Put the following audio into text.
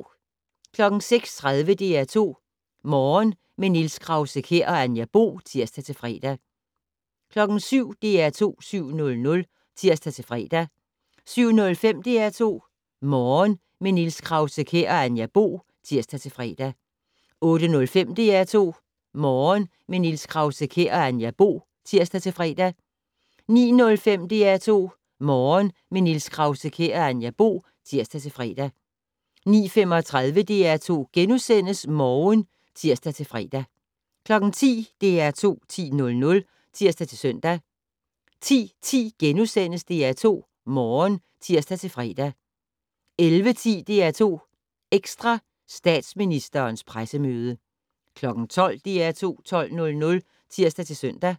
06:30: DR2 Morgen - med Niels Krause-Kjær og Anja Bo (tir-fre) 07:00: DR2 7:00 (tir-fre) 07:05: DR2 Morgen - med Niels Krause-Kjær og Anja Bo (tir-fre) 08:05: DR2 Morgen - med Niels Krause-Kjær og Anja Bo (tir-fre) 09:05: DR2 Morgen - med Niels Krause-Kjær og Anja Bo (tir-fre) 09:35: DR2 Morgen *(tir-fre) 10:00: DR2 10:00 (tir-søn) 10:10: DR2 Morgen *(tir-fre) 11:10: DR2 Ekstra: Statsministerens pressemøde 12:00: DR2 12:00 (tir-søn)